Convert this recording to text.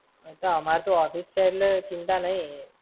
એ તો અમાર તો office છે એટલે ચિંતા નઈ.